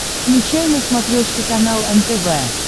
включай на смотрешке канал нтв